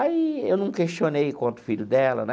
Aí, eu não questionei quanto o filho dela, né?